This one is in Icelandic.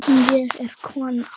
Ég er kona